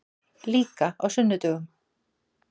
Líka á sunnudögum.